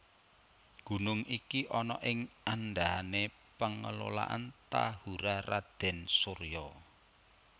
Gunung iki ana ing andahané Pengelolaan Tahura Raden Soeryo